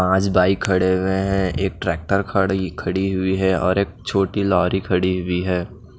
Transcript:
पांच बाइक खड़े हुए हैं एक ट्रैक्टर खड़ी खड़ी हुई है और एक छोटी लॉरी खड़ी हुई है।